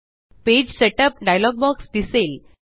page setup dialog box दिसेल